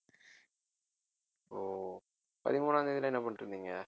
ஓ பதிமூணாம் தேதி எல்லாம் என்ன பண்ணிட்டிருந்தீங்க